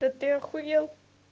да ты ахуел